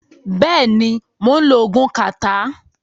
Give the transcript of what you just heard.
Bẹ́ẹ̀ ni, mò ń lo oògùn kàtá.